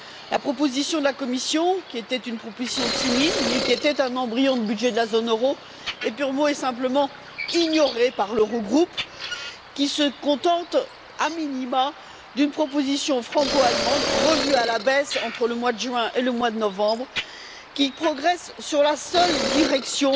La proposition de la Commission, qui était une proposition timide mais qui était un embryon de budget de la zone euro, est purement et simplement ignorée par l'Eurogroupe, qui se contente, a minima, d'une proposition franco allemande revue à la baisse, entre le mois de juin et le mois de novembre, qui progresse dans la seule direction